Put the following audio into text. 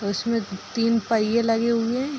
उसमें तीन पहिए लगे हुए हैं।